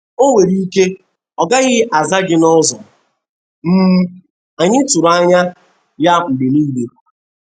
O nwere ike ọ gaghị aza gi n’ụzọ um anyị tụrụ anya ya mgbe nile.